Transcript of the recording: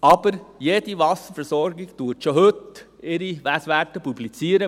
Aber jede Wasserversorgung publiziert ihre Messwerte schon heute.